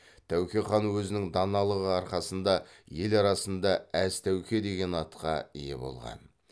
тәуке хан өзінің даналығы арқасында ел арасында әз тәуке деген атқа ие болған